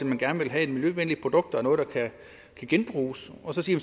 man gerne vil have et miljøvenligt produkt og noget der kan genbruges og så sige